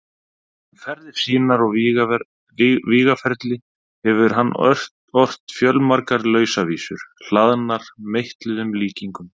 Um ferðir sínar og vígaferli hefur hann ort fjölmargar lausavísur, hlaðnar meitluðum líkingum.